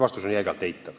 Vastus on jäigalt eitav.